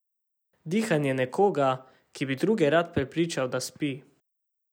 Dihanje nekoga, ki bi druge rad prepričal, da spi.